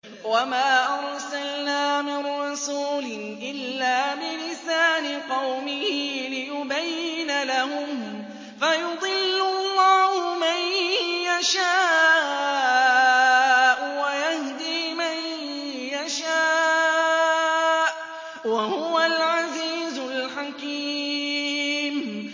وَمَا أَرْسَلْنَا مِن رَّسُولٍ إِلَّا بِلِسَانِ قَوْمِهِ لِيُبَيِّنَ لَهُمْ ۖ فَيُضِلُّ اللَّهُ مَن يَشَاءُ وَيَهْدِي مَن يَشَاءُ ۚ وَهُوَ الْعَزِيزُ الْحَكِيمُ